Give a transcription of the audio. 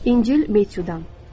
İncil, Metudan.